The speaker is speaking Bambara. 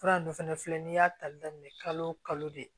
Fura dun fana filɛ nin y'a ta daminɛ kalo o kalo de